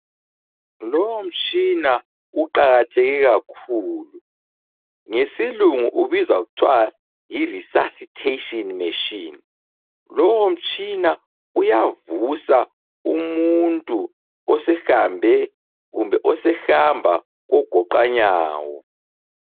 Lowomtshina uqakatheke kakhulu ngesilungu ubizwa kuthwa yiresuscitation machine. Lowomtshina uyavusa umuntu osehambe kumbe osehamba kogoqanyawo.